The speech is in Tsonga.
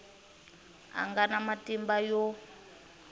a nga na matimba yo